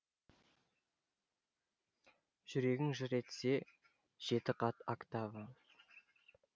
жүрегің жыр етсе жеті қат октава